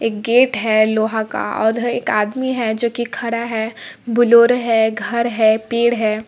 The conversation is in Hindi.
एक गेट है लोहा का उधर एक आदमी है जो की खड़ा है ब्लॉरो है घर है पेड़ है।